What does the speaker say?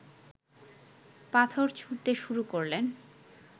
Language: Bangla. পাথর ছুঁড়তে শুরু করলে